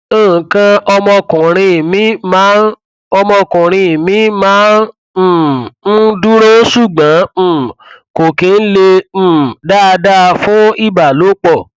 nǹkan ọmọkuùnrin mi máa ọmọkuùnrin mi máa n um ń dúró ṣùgbọn um kò kí ń le um dáadáa fún ìbálòpọ